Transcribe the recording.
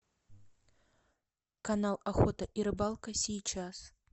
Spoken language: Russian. канал охота и рыбалка сейчас